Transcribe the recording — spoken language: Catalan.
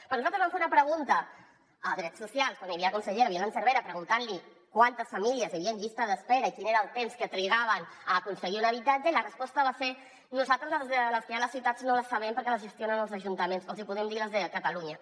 perquè nosaltres vam fer una pregunta a drets socials quan hi havia la consellera violant cervera preguntant li quantes famílies hi havia en llista d’espera i quin era el temps que trigaven a aconseguir un habitatge i la resposta va ser nosaltres les que hi ha a les ciutats no les sabem perquè les gestionen els ajuntaments els hi podem dir les de catalunya